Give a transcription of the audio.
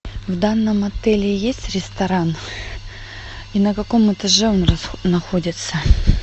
в данном отеле есть ресторан и на каком этаже он находится